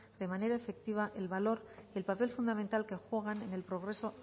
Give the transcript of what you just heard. de manera efectiva el valor y el papel fundamental que juegan en el progreso